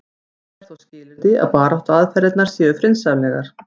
það er þó skilyrði að baráttuaðferðirnar séu friðsamlegar